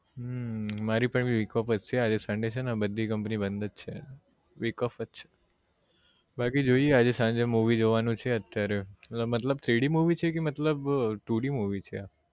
હમ મારી પણ week off જ છે આજે sunday છે ને બધી company બધ જ છે week off જ છે બાકી જોઈએ આજે સાંજે movie જોવાનું છે અત્યારે મતલબ three D movie છે કે two D movie છે આ